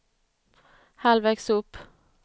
halvvägs upp